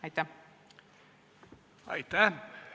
Aitäh!